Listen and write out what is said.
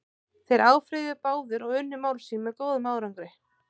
Þeir áfrýjuðu báðir og unnu mál sín með góðum árangri.